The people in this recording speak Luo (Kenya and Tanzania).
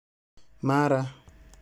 Mara